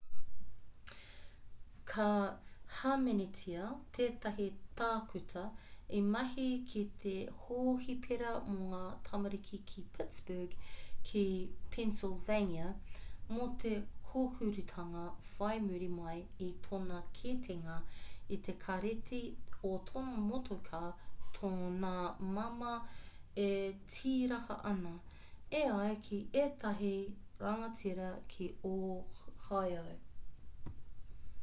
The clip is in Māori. ka hāmenetia tētahi tākuta i mahi ki te hohipera mō ngā tamariki ki pittsburgh ki pennsylvania mō te kōhurutanga whai muri mai i tōna kitenga i te kāreti o tōna motuka tōna māmā e tīraha ana e ai ki ētahi rangatira ki ohio